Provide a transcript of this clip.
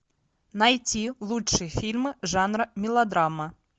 найти лучшие фильмы жанра мелодрама